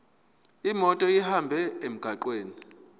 imoto ihambe emgwaqweni